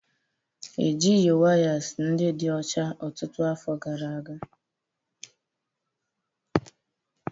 Ejighị wires ndị dị ọcha ọtụtụ afọ gara aga